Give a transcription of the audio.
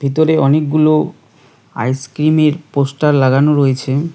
ভিতরে অনেকগুলো আইসক্রিমের পোস্টার লাগানো রয়েছে।